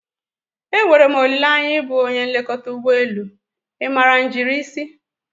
E nwere m olileanya ịbụ onye nlekọta ụgbọ elu, ị maara njirisi?